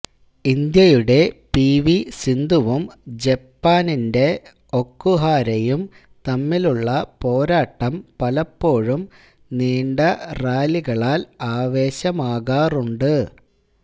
ഇന്ത്യയുടെ പിവി സിന്ധുവും ജപ്പാന്റെ ഒകുഹാരയും തമ്മിലുള്ള പോരാട്ടം പലപ്പോഴും നീണ്ട റാലികളാല് ആവേശമാകാറുണ്ട്